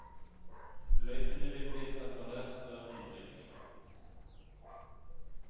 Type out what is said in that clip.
Løypene vil bli preparert før innrykk.